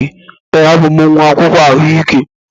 Ee, abụ m nwa akwụkwọ ahụike.